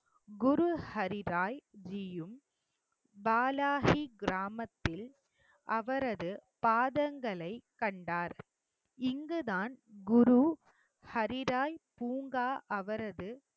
குரு ஹரி ராய் ஜியும் பாலாகி கிராமத்தில் அவரது பாதங்களை கண்டார் இங்குதான் குரு ஹரி ராய் பூங்கா அவரது